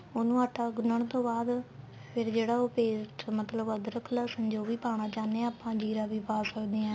ਉਹਨੂੰ ਆਟਾ ਗੁੰਨਣ ਤੋਂ ਬਾਅਦ ਫੇਰ ਜਿਹੜਾ ਉਹ paste ਮਤਲਬ ਅਧਰਕ ਲਸਣ ਜੋ ਵੀ ਪਾਣਾ ਚਾਹਨੇ ਆ ਆਪਾਂ ਜੀਰਾ ਵੀ ਪਾ ਸਕਦੇ ਆ